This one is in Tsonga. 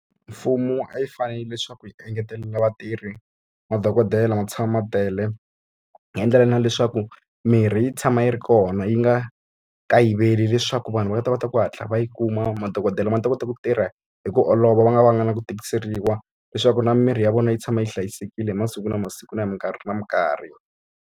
Mfumo a wu fanele leswaku wu engetela vatirhi, madokodela ma tshama ma tele. Wu endlela na leswaku mirhi yi tshama yi ri kona yi nga kayiveli leswaku vanhu va nga ta va ta ku hatla va yi kuma, madokodela ma ni ta kota ku tirha hi ku olova va nga va nga na ku tikiseriwa. Leswaku na mimirhi ya vona yi tshama yi hlayisekile hi masiku na masiku na hi mikarhi na mikarhi.